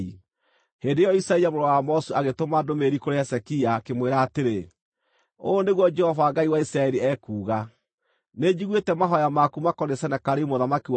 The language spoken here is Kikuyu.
Hĩndĩ ĩyo Isaia mũrũ wa Amozu agĩtũma ndũmĩrĩri kũrĩ Hezekia, akĩmwĩra atĩrĩ: “Ũũ nĩguo Jehova Ngai wa Isiraeli ekuuga: Nĩnjiguĩte mahooya maku makoniĩ Senakeribu mũthamaki wa Ashuri.